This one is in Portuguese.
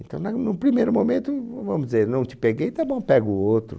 Então, na, num primeiro momento, vamos dizer, não te peguei, tá bom, pego o outro.